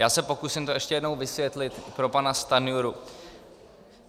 Já se pokusím to ještě jednou vysvětlit pro pana Stanjuru.